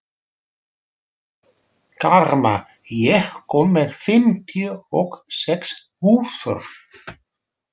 Karma, ég kom með fimmtíu og sex húfur!